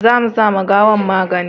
za mu sa ma gawan magani